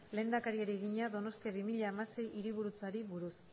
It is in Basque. lehendakariari egina donostia bi mila hamasei hiriburutzari buruz